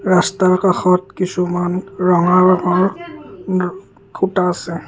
ৰাস্তাৰ কাষত কিছুমান ৰঙা ৰঙৰ ও খুঁটা আছে।